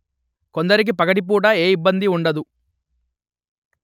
కొందరికి పగటిపూట ఏ ఇబ్బందీ ఉండదు